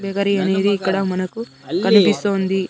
Bakery అనేది ఇక్కడ మనకు కన్పిస్తూ ఉంది.